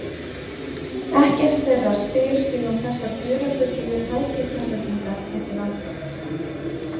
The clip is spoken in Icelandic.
Ekkert þeirra spyr sig um þessar dularfullu hraðskeytasendingar milli landa.